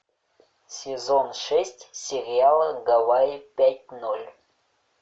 сезон шесть сериала гавайи пять ноль